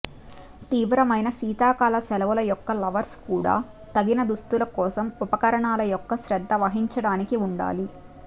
తీవ్రమైన శీతాకాల సెలవులు యొక్క లవర్స్ కూడా తగిన దుస్తులు కోసం ఉపకరణాలు యొక్క శ్రద్ధ వహించడానికి ఉండాలి